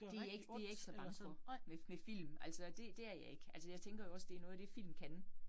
Det jeg ikke det jeg ikke så bange for med med film. Altså det det er jeg ikke. Altså jeg tænker jo også, det er noget af det, film kan